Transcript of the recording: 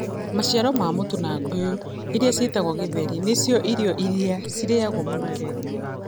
Maciara ma mũtu na ngũyũ, iria ciĩtagwo githeri, nĩ cio irio iria ciaragio mũno Kenya.